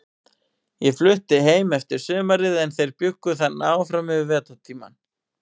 Ég flutti heim eftir sumarið, en þeir bjuggu þarna áfram yfir vetrartímann.